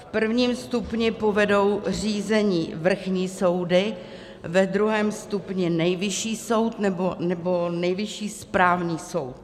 V prvním stupni povedou řízení vrchní soudy, ve druhém stupni Nejvyšší soud nebo Nejvyšší správní soud.